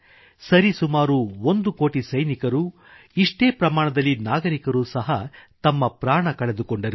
ಸರಿಸುಮಾರು ಒಂದು ಕೋಟಿ ಸೈನಿಕರು ಇಷ್ಟೇ ಪ್ರಮಾಣದಲ್ಲಿ ನಾಗರಿಕರೂ ಸಹ ತಮ್ಮ ಪ್ರಾಣ ಕಳೆದುಕೊಂಡರು